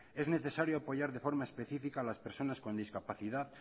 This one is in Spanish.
es necesario apoyar de forma específica las personas con discapacidad